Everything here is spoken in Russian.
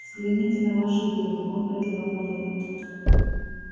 взгляните на наши деньги он протянул монетку